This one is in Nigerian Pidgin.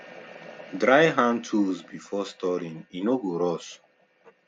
dry hand tools before storing e no go rust